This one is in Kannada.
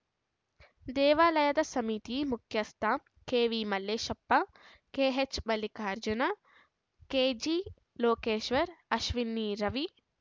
ದೇವಾಲಯದ ಸಮಿತಿ ಮುಖ್ಯಸ್ಥ K V Malleshappa K H Mallikarjun K G Lokeshwar Ashwini Ravi